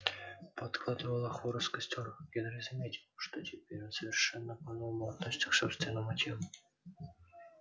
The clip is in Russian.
подкладывая хворост в костёр генри заметил что теперь он совершенно по новому относится к собственному телу